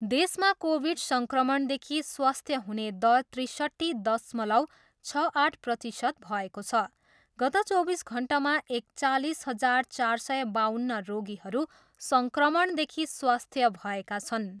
देशमा कोभिड सङ्क्रमणदेखि स्वास्थ्य हुने दर त्रिसट्ठी दशमलव छ आठ प्रतिशत भएको छ। गत चौबिस घन्टामा एकचालिस हजार चार सय बाउन्न रोगीहरू सङ्क्रमणदेखि स्वास्थ्य भएका छन्।